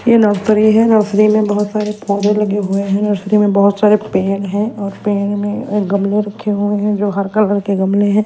ये नर्सरी है नर्सरी मे बहोत सारे पौधे लगे हुए है नर्सरी मे बहुत सारे पेड़ हैं और पेड़ मे गमले रखे हुए है जो हर कलर के गमले है।